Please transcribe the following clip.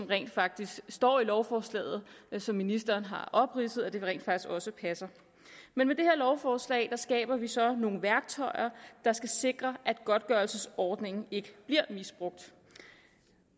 rent faktisk står i lovforslaget og som ministeren har opridset rent faktisk også passer med det her lovforslag skaber vi så nogle værktøjer der skal sikre at godtgørelsesordningen ikke bliver misbrugt